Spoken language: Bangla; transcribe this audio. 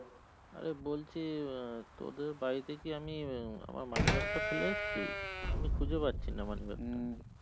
আরে বলছি উম তোদের বাড়িতে কি আমি উম আমার money bag টা ফেলে এসেছি আমি খুজে পাচ্ছি না money bag টা